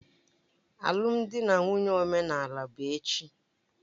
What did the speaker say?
Alụmdi na nwunye omenala bụ echi